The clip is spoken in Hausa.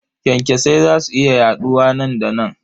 Kyankyasai za su iya yaɗuwa nan da nan.